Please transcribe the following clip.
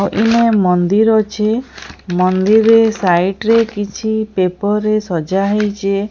ଆଉ ଇନେ ମନ୍ଦିର ଅଛି ମନ୍ଦିର ରେ ସାଇଟ୍ ରେ କିଛି ପେପର୍ ରେ ସଜା ହେଇଚି।